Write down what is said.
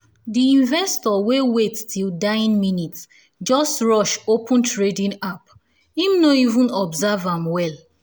di investor wey wait till dying minute just rush open trading app him no even observe am well